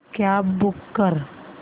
cab book कर